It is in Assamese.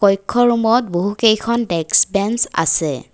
কক্ষ ৰোম ত বহুকেইখন ডেক্স বেঞ্চ আছে।